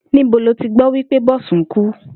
Níbo lo ti gbó̩ wí pé Bò̩sún ku?